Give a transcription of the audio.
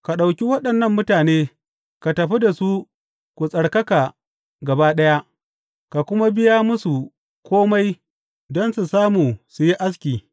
Ka ɗauki waɗannan mutane, ka tafi da su ku tsarkaka gaba ɗaya, ka kuma biya musu kome don su samu su yi aski.